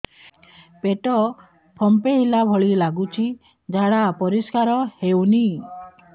ପେଟ ଫମ୍ପେଇଲା ଭଳି ଲାଗୁଛି ଝାଡା ପରିସ୍କାର ହେଉନି